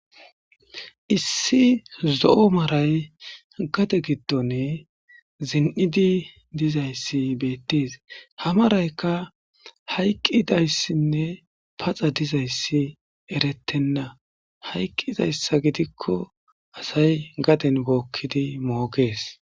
Issi zo'o maray gade giddone zin'idi dizayssi beettees hamaraykka hayqqidayssinne paxa dizayssi eretenna hayqqizayssa gidikko asay gaden bookkidi moogees.